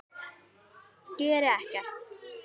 Geri ekkert.